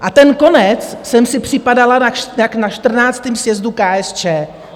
A ten konec jsem si připadala jak na XIV. sjezdu KSČ.